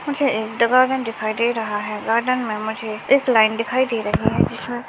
मुझे एक दिखाई दे रहा है गार्डेन मे मुझे एक लाइन दिखाई दे रही है जिसमे--